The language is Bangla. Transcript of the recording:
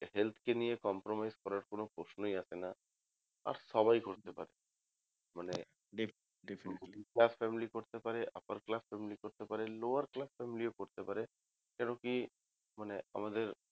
Health কে নিয়ে compromise করার কোনো প্রশ্নই আসে না আর সবাই করতে পারে মানে middle class family করতে পারে upper class family করতে পারে lower class family ও করতে পারে কেন কি মানে আমাদের